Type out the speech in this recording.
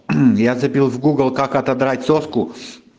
мм я забил в гугл как отодрать соску